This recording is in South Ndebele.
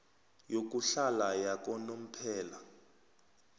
yokuhlala yakanomphela